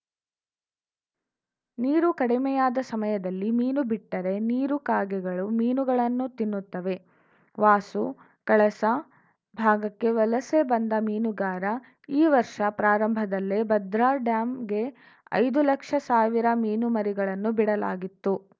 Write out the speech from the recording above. ನೀರು ಕಡಿಮೆಯಾದ ಸಮಯದಲ್ಲಿ ಮೀನು ಬಿಟ್ಟರೆ ನೀರು ಕಾಗೆಗಳು ಮೀನುಗಳನ್ನು ತಿನ್ನುತ್ತವೆ ವಾಸು ಕಳಸ ಭಾಗಕ್ಕೆ ವಲಸೆ ಬಂದ ಮೀನುಗಾರ ಈ ವರ್ಷ ಪ್ರಾರಂಭದಲ್ಲಿ ಭದ್ರಾ ಡ್ಯಾಂಗೆ ಐದು ಲಕ್ಷ ಸಾವಿರ ಮೀನುಮರಿಗಳನ್ನು ಬಿಡಲಾಗಿತ್ತು